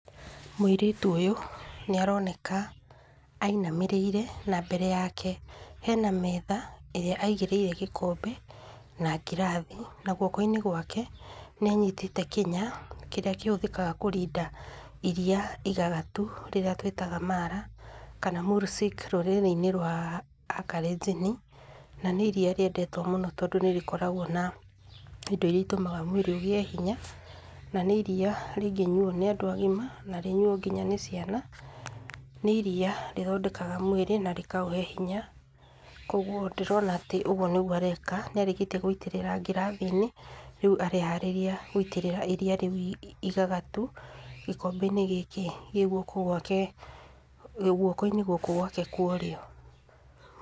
Mũirĩtu ũyũ nĩ aroneka ainamĩrĩire, na mbere yake hena metha ĩrĩa aigĩrĩire gĩkombe na ngirathi na guoko-inĩ gwake nĩ anyitĩte kĩnya kĩrĩa kĩhũthĩkaga kũrinda iriia igagatu rĩrĩa twĩtaga mara, kana mursik rũrĩrĩ-inĩ rwa aKalenjin, na nĩ iriia rĩendetwo mũno tondũ nĩ nĩrokoragwo na indo iria itũmaga mwĩrĩ ũgĩe hinya na nĩ iriia rĩngĩnyuo nĩ andũ agima, na rĩnyuo nginya nĩ ciana. Nĩ iriia rĩthondeka mwĩrĩ na rĩkaũhe hinya. Koguo ndĩrona atĩ ũguo nĩguo areka, nĩ arĩkĩtie gũitĩrĩra ngirathi-inĩ, rĩu areharĩria gũitĩrĩra iriia rĩu igagatu gĩkombe-inĩ gĩkĩ gĩ guoko-inĩ gũkũ gwake kwa ũrĩo.